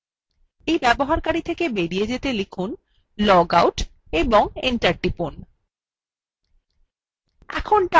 user থেকে বেরিয়ে যেতে লিখুন logout এবং enter টিপুন